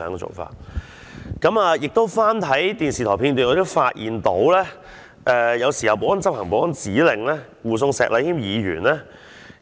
此外，我翻看電視台片段，發現保安人員在執行保安指令護送石禮謙議員